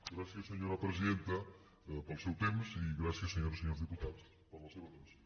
gràcies senyora presidenta pel seu temps i gràcies senyores i senyors diputats per la seva atenció